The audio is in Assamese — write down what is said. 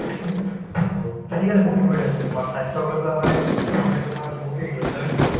to আজিকালি বহুত সুবিধা হৈছে তোমাৰ স্বাস্থ্যক লৈ পেলাই মানে মানুহে তোমাৰ বহুতে কৰিছে হয় নে নহয়